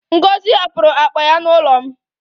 Ngozi hapụrụ akpa ya n'ụlọ m